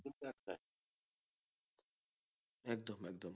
একদম একদম